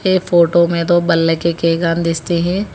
ये फोटो में दो बल्ले के है।